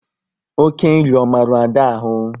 Oké nri ọ maru Ada ahụ?